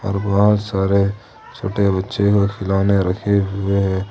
बहुत सारे छोटे बच्चे को खिलौने रखे हुए हैं।